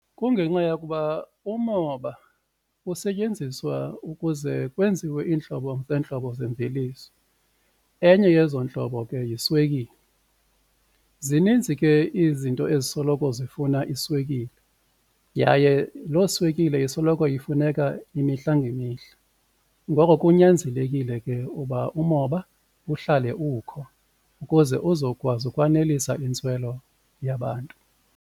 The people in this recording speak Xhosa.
Kungenxa yokuba umoba usetyenziswa ukuze kwenziwe iintlobo ngeentlobo zemveliso enye yezo ntlobo ke yiswekile. Zininzi ke izinto ezisoloko zifuna iswekile yaye loo swekile isoloko ifuneka imihla ngemihla ngoko kunyanzelekile ke uba umoba uhlale ukho ukuze uzokwazi ukwanelisa iintswelo yabantu.